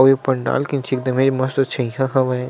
आऊ ये पंडाल के मस्त छइहा हावय--